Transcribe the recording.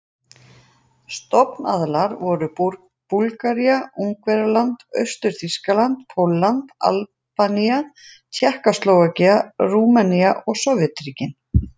Stofnaðilar voru Búlgaría, Ungverjaland, Austur-Þýskaland, Pólland, Albanía, Tékkóslóvakía, Rúmenía og Sovétríkin.